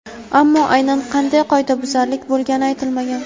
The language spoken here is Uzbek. Ammo aynan qanday qoidabuzarlik bo‘lgani aytilmagan.